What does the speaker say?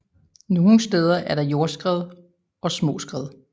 Nogle steder er der jordskred og små skred